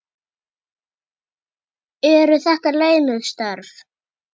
Eru þetta launuð störf?